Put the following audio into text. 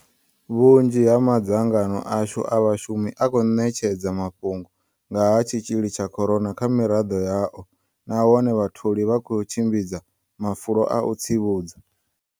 Vhunzhi ha madzangano ashu a vhashumi a khou ṋetshedza mafhungo nga ha tshitzhili tsha corona kha miraḓo yao nahone vhatholi vha khou tshimbidza mafulo a u tsivhudza.